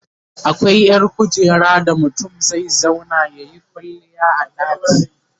akwai ƴar kujera da mutum zai zauna yayi kwalliya a ɗaki